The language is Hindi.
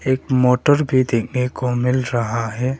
एक मोटर भी देखने को मिल रहा है।